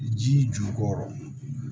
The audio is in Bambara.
Ji jukɔrɔ